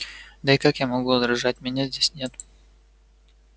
да и как я могу возражать меня здесь нет